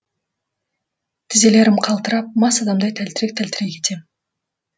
тізелерім қалтырап мас адамдай тәлтірек тәлтірек етем